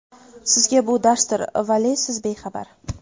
Sizga bu darsdir, vale siz bexabar.